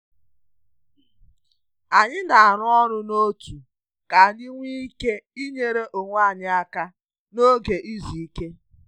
Anyị na-arụ ọrụ n’òtù ka anyị nwee ike inyere onwe anyị aka n’oge izu ike.